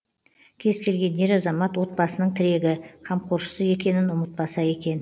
кез келген ер азамат отбасының тірегі қамқоршысы екенін ұмытпаса екен